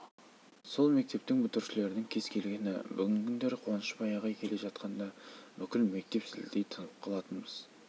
ол кісінің дауысын естіген кез келген тентегіміз тез есін жиып алушы еді деп отырады